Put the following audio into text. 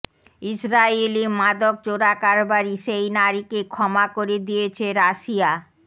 ইসরাইলি মাদক চোরাকারবারি সেই নারীকে ক্ষমা করে দিয়েছে রাশিয়া